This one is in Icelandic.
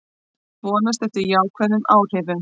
Vonast eftir jákvæðum áhrifum